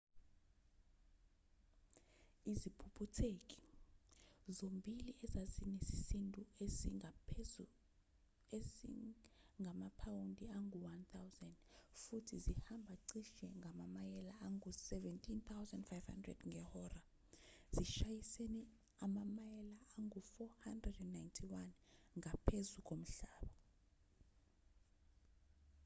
iziphuphutheki zombili ezazinesisindo esingamaphawundi angu-1,000 futhi zihamba cishe ngamamayela angu-17,500 ngehora zishayisene amamayela angu-491 ngaphezu komhlaba